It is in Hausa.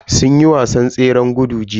Sun yi wasan tseren gudu jiya.